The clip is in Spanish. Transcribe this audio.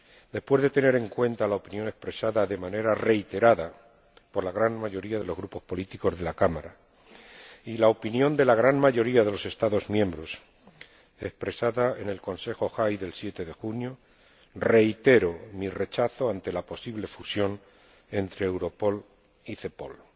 Después de tener en cuenta la opinión expresada, de manera reiterada, por la gran mayoría de los grupos políticos de la Cámara y la opinión de la gran mayoría de los Estados miembros, expresada en el Consejo de Justicia y Asuntos de Interior del 7 de junio, reitero mi rechazo ante la posible fusión entre Europol y CEPOL.